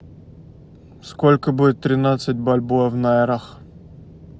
сколько будет тринадцать бальбоа в найрах